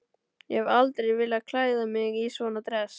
Ég hef aldrei viljað klæða mig í svona dress.